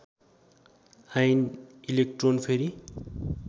ion electron फेरि